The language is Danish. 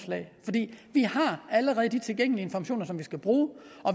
vi har allerede de tilgængelige informationer som vi skal bruge